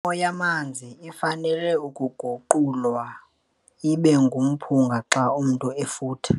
Imo yamanzi ifanele ukuguqulwa ibe ngumphunga xa umntu efutha.